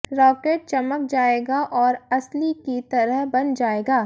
rocket चमक जाएगा और असली की तरह बन जाएगा